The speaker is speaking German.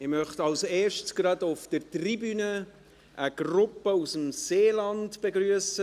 Ich möchte zuerst auf der Tribüne eine Gruppe aus dem Seeland begrüssen.